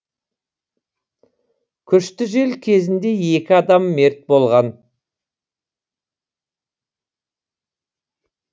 күшті жел кезінде екі адам мерт болған